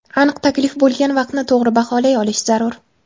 Aniq taklif bo‘lgan vaqtni to‘g‘ri baholay olish zarur.